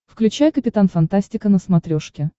включай капитан фантастика на смотрешке